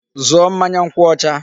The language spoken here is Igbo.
Zụọ mmanya nkwụ ọcha!